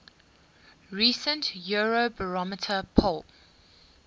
recent eurobarometer poll